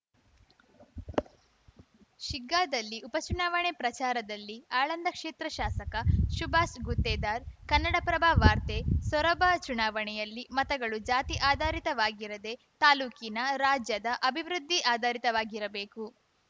ಶಿಗ್ಗಾದಲ್ಲಿ ಉಪಚುನಾವಣೆ ಪ್ರಚಾರದಲ್ಲಿ ಆಳಂದ ಕ್ಷೇತ್ರ ಶಾಸಕ ಶುಭಾಸ್ ಗುತ್ತೇದಾರ್‌ ಕನ್ನಡಪ್ರಭ ವಾರ್ತೆ ಸೊರಬ ಚುನಾವಣೆಯಲ್ಲಿ ಮತಗಳು ಜಾತಿ ಆಧಾರಿತವಾಗಿರದೇ ತಾಲೂಕಿನ ರಾಜ್ಯದ ಅಭಿವೃದ್ಧಿ ಆಧಾರಿತವಾಗಿರಬೇಕು